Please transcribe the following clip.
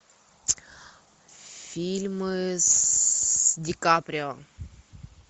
фильмы с ди каприо